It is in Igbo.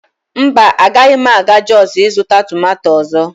mba, agaghị m aga jos ịzụta tomato ọzọ